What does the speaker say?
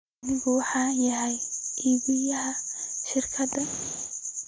Anigu waxaan ahay iibiyaha shirkaddan.